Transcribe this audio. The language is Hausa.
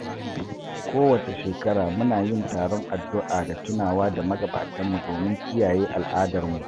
Kowace shekara, muna yin taron addu'a da tunawa da magabatanmu domin kiyaye al'adarmu.